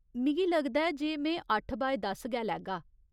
मिगी लगदा ऐ जे में अट्ठ बाय दस गै लैगा।